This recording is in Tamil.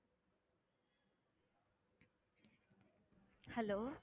hello